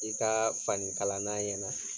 I kaa fanikalanna ɲɛna